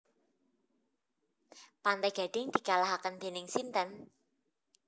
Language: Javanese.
Pantai Gading dikalahaken dening sinten?